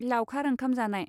लावखार ओंखाम जानाय